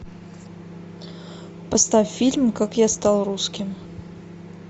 поставь фильм как я стал русским